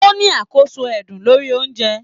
O ní àkóso ẹdun lórí ounjẹ.